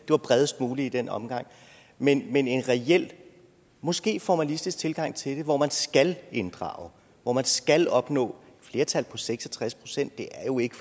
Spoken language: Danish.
var bredest muligt i den omgang men en en reel og måske formalistisk tilgang til det hvor man skal inddrage og hvor man skal opnå flertal på seks og tres pct er jo ikke